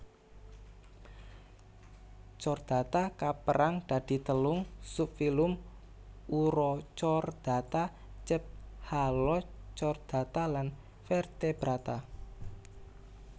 Chordata kapérang dadi telung subfilum Urochordata Cephalochordata lan Vertebrata